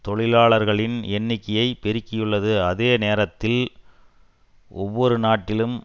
தொழிலாளர்களின் எண்ணிக்கையை பெருக்கியுள்ளது அதே நேரத்தில் ஒவ்வொரு நாட்டிலும்